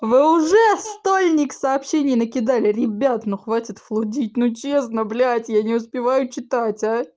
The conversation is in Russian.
вы уже стольник сообщений накидали ребята ну хватит флудить ну честно блять я не успеваю читать